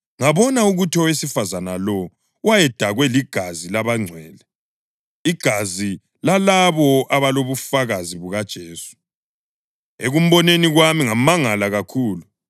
Ngabona ukuthi owesifazane lowo wayedakwe ligazi labangcwele, igazi lalabo abalobufakazi bukaJesu. Ekumboneni kwami ngamangala kakhulu.